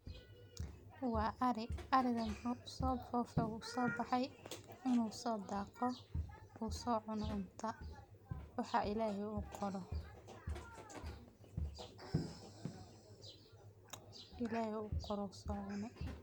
Waa Ari. Ari dan wuxuu so fofe u soo bahay inuu sodaaqo ku soo cuno cuntaa, waxa ilaahi u koro. Ilaahi u koro soo cuni.